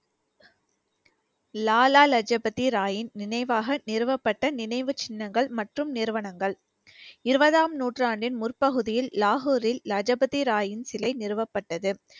Lala Lajpat ராயின் நினைவாக நிறுவப்பட்ட நினைவுச் சின்னங்கள் மற்றும் நிறுவனங்கள் இருபதாம் நூற்றாண்டின் முற்பகுதியில் லாகூரில் லஜபதி ராயின் சிலை நிறுவப்பட்டது